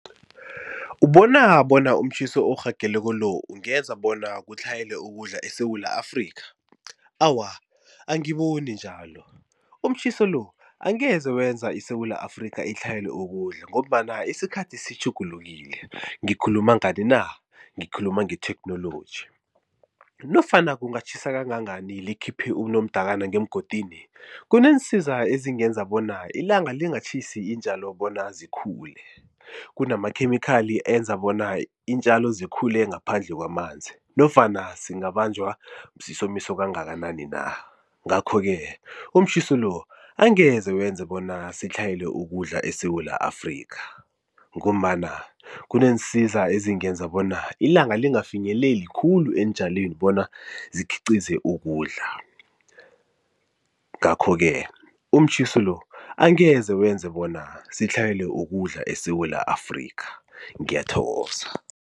Ubona bona umtjhiso orhageleko lo ungenza bona kutlhayele ukudla eSewula Afrika? Awa angiboni njalo, umtjhiso lo angeze wenza iSewula Afrika itlhayele ukudla ngombana isikhathi sitjhugulukile ngikhuluma ngani na? Ngikhuluma nge-technolgy. Nofana kungatjhisa kangangani likhiphe unomdakana ngemgodini kuneensiza ezingenza bona ilanga lingatjhisi iintjalo bona zikhule kunamakhemikhali enza bona iintjalo zikhule ngaphandle kwamanzi nofana singabanjwa sisomiso kangakanani na. Ngakho-ke umtjhiso lo angeze wenze bona sitlhayele ukudla eSewula Afrika ngombana kuneensiza ezingenza bona ilanga lingafinyeleli khulu eentjalweni bona zikhiqize ukudla. Ngakho-ke umtjhiso lo angeze wenze bona sitlhayele ukudla eSewula Afrika ngiyathokoza.